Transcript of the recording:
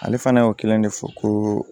Ale fana y'o kelen de fɔ ko